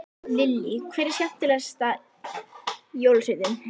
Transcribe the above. Lillý: Hver er skemmtilegast jólasveinninn?